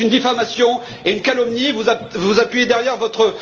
Donc c'est une diffamation et une calomnie, vous vous appuyez derrière votre